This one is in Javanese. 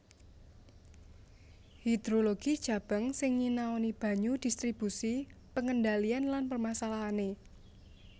Hidrologi Cabang sing nyinaoni banyu distribusi pengendalian lan permasalahané